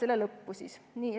selle lõppu.